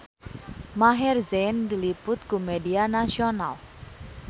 Maher Zein diliput ku media nasional